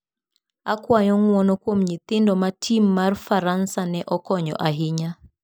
Akwayo ng'uono kuom nyithindo ma tim mar Faransa ne okonyo ahinya